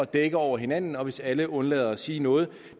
dække over hinanden og hvis alle undlader at sige noget